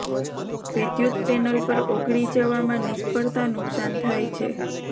વિદ્યુત પેનલ પર ઓગળી જવામાં નિષ્ફળતા નુકસાન થાય છે